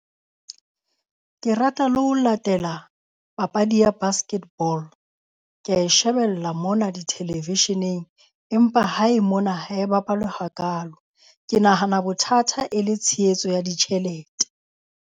Ke rata le ho latela papadi ya basket ball. Kea e shebella mona di-television-eng, Empa hae mona ha e bapalwe hakalo. Ke nahana bothata e le tshehetso ya ditjhelete.